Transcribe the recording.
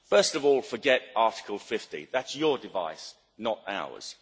First of all, forget Article 50 that's your device, not ours.